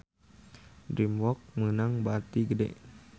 DreamWorks meunang bati gede